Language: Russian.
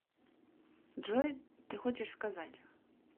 джой ты хочешь сказать